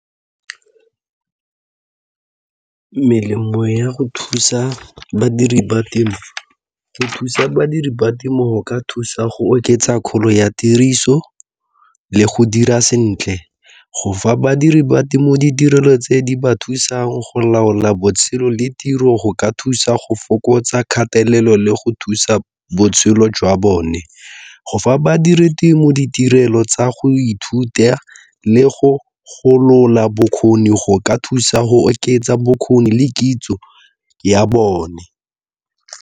Melemo ya go thusa badiri ba temo, go thusa badiri ba temo go ka thusa go oketsa kgolo ya tiriso le go dira sentle go fa badiri ba temo ditirelo tse di ba thusang go laola botshelo le tiro go ka thusa go fokotsa kgatelelo le go thusa botshelo jwa bone. Go fa badiri temo ditirelo tsa go ithuta le go golola bokgoni go ka thusa go oketsa bokgoni le kitso ya bone.